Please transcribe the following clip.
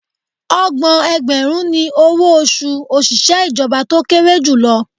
Ọgbọ̀n ẹgbẹ̀rún ni owó oṣù òṣìṣẹ́ ìjọba tó kéré jù lọ